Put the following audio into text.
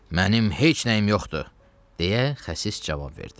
Mənim heç nəyim yoxdur, deyə xəsis cavab verdi.